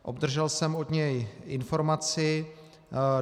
Obdržel jsem od něj informaci.